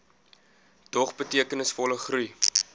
dog betekenisvolle groei